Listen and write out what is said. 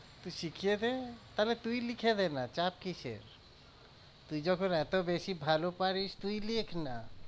তুই শিখিয়েদে তাহলে তুই লিখে দেনা চাপ কিসের? তুই যখন এতো বেশি ভালো পারিস তুই লেখ না।